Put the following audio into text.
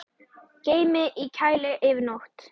Geymið í kæli yfir nótt.